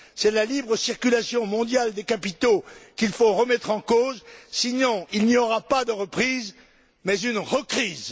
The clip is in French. C'est la libre circulation mondiale des capitaux qu'il faut remettre en cause, sinon il n'y aura pas de reprise, mais une recrise.